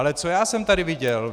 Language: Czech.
Ale co já jsem tady viděl?